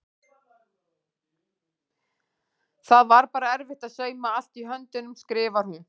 Það var bara erfitt að sauma allt í höndunum skrifar hún.